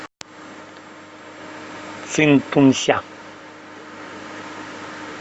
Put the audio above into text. цинтунся